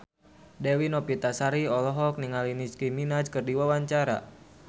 Dewi Novitasari olohok ningali Nicky Minaj keur diwawancara